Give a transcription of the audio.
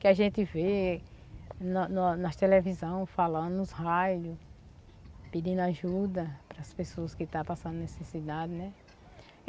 que a gente vê na na na nas televisão falando nos raios, pedindo ajuda para as pessoas que está passando necessidade.